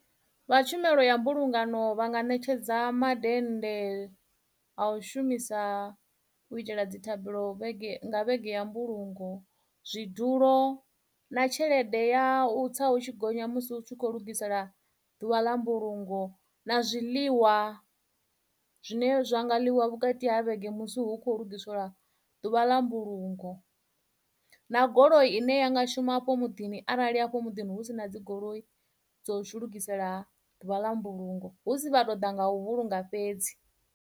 Vha tshumelo ya mbulungano vha nga ṋetshedza madennde a u shumisa u itela dzi thabelo nga vhege ya mbulungo zwidulo na tshelede ya u tsa u tshi gonya musi u tshi kho lugisela ḓuvha ḽa mbulungo na zwiḽiwa zwine zwa nga ḽiwa vhukati ha vhege musi hu kho ligiselwa ḓuvha ḽa mbulungo na goloi ine ya nga shuma afho muḓini arali afho muḓini hu si na dzigoloi dzo lugisela ḓuvha ḽa mbulungo hu si vha toḓa nga u vhulunga fhedzi.